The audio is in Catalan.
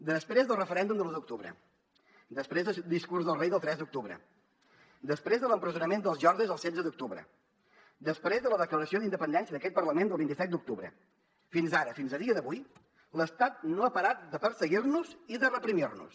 després del referèndum de l’u d’octubre després del discurs del rei del tres d’octubre després de l’empresonament dels jordis el setze d’octubre després de la declaració d’independència d’aquest parlament del vint set d’octubre fins ara fins al dia d’avui l’estat no ha parat de perseguir nos i de reprimir nos